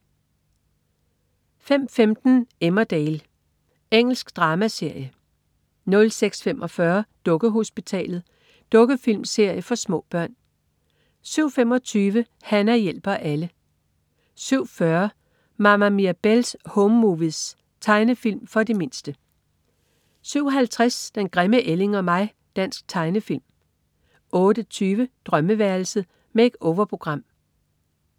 05.15 Emmerdale. Engelsk dramaserie 06.45 Dukkehospitalet. Dukkefilmserie for små børn 07.25 Hana hjælper alle 07.40 Mama Mirabelle's Home Movies. Tegnefilm for de mindste 07.50 Den grimme ælling og mig. Dansk tegnefilm 08.20 Drømmeværelset. Make-over-program